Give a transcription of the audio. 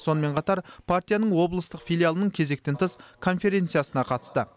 сонымен қатар партияның облыстық филиалының кезектен тыс конференциясына қатысты